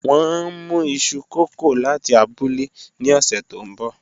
Wọn n mu iṣu kókò lati abule ni ọsẹ to nbọ